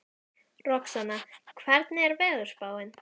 Roxanna, hvernig er veðurspáin?